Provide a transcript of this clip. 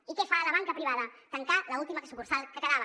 i què fa la banca privada tancar l’última sucursal que quedava